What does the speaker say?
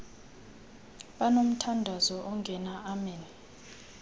banomthandazo ongena amen